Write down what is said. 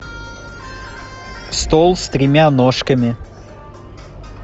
стол с тремя ножками